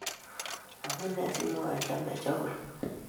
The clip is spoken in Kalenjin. Amune simwoe lembechek agoi